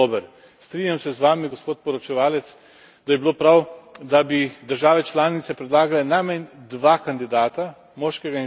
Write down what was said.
Strinjam se z vami, gospod poročevalec, da bi bilo prav, da bi države članice predlagale najmanj dva kandidata, moškega in žensko.